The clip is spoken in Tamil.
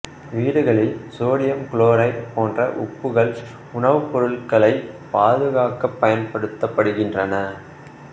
வீடுகளில் சோடியம் குளோரைடு போன்ற உப்புகள் உணவுப்பொருள்களைப் பாதுகாக்கப் பயன்படுத்தப்படுகின்றன